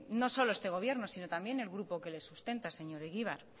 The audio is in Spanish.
no solo este gobierno sino también el grupo que le sustenta señor egibar